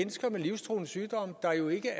er jo ikke